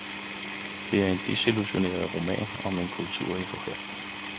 Det er en desillusioneret roman om en kultur i forfald.